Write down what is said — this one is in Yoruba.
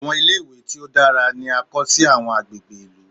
Àwọn ilé-ìwé tí ó dára ni a ó kọ́ sí àwọn agbègbè ìlú.